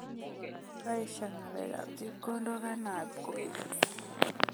Kaesho ngalekab chepkondok ainabkoi